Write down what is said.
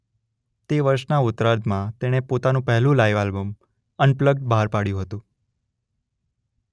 તે વર્ષના ઉત્તરાર્ધમાં તેણે પોતાનું પહેલું લાઇવ આલ્બમ અનપ્લગ્ડ બહાર પાડયું હતું